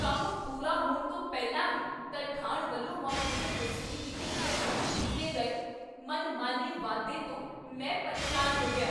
ਕੰਮ ਪੂਰਾ ਹੋਣ ਤੋਂ ਪਹਿਲਾਂ ਹੀ ਤਰਖਾਣ ਵੱਲੋਂ ਮਾਡਿਊਲਰ ਰਸੋਈ ਦੀ ਕੀਮਤ ਵਿੱਚ ਕੀਤੇ ਗਏ ਮਨਮਾਨੇ ਵਾਧੇ ਤੋਂ ਮੈਂ ਪਰੇਸ਼ਾਨ ਹੋ ਗਿਆ।